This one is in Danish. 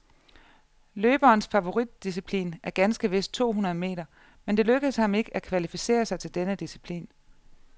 Løberens favoritdisciplin er ganske vist to hundrede meter, men det lykkedes ham ikke at kvalificere sig til denne disciplin.